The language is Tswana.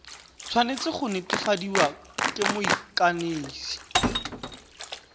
tshwanetse go netefadiwa ke moikanisi